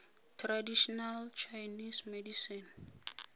traditional chinese medicine